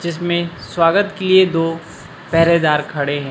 जिसमें स्वागत किए दो पेहरेदार खड़े हैं।